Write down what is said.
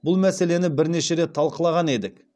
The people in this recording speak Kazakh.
бұл мәселені бірнеше рет талқылаған едік